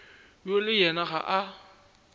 yo le yena ga a